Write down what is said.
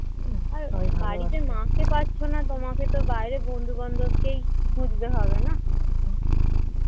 আর বাড়িতে মাকে পাচ্ছ না তোমাকে তো বন্ধুবান্ধবকেই তো খুঁজতে হবে না